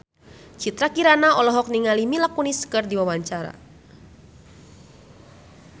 Citra Kirana olohok ningali Mila Kunis keur diwawancara